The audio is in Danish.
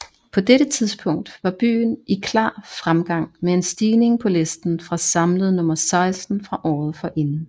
På dette tidspunkt var byen i klar fremgang med en stigning på listen fra samlet nummer seksten fra året forinden